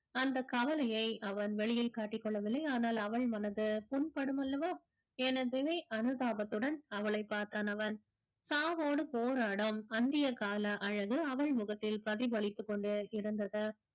அந்த கவலைய அவன் வெளியில் காட்டிக் கொள்ளவில்லை ஆனால் அவள் மனது புண்படும் அல்லவா என அனுதாபத்துடன் அவளைப் பார்த்தான் அவன் சாவோடு போராடும் அந்திய கால அழகு அவள் முகத்தில் பிரதிபலித்து கொண்டே இருந்தது